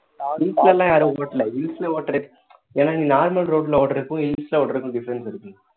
hills லாம் யாரும் ஓட்டல hills ல ஒட்றத்துக்கு ஏன்னா நீ normal road ல ஓட்டுறதுக்கும் hills ல ஓட்டுறதுக்கும் difference இருக்கு